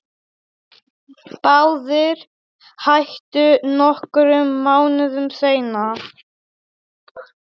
Báðir hættu nokkrum mánuðum seinna.